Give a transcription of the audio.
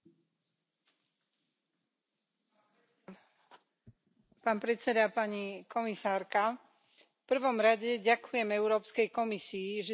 V prvom rade ďakujem Európskej komisii, že sa rozhodla vyhovieť miliónom občanov Únie a zrušiť striedanie času dvakrát za rok.